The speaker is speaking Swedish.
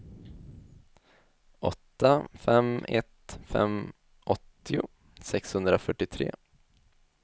åtta fem ett fem åttio sexhundrafyrtiotre